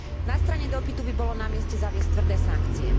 Na strane dopytu by bolo na mieste zaviesť tvrdé sankcie.